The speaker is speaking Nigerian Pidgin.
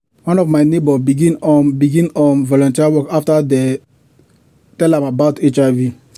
one of my neighbors begin um begin um volunteer work after dem tell am about hiv.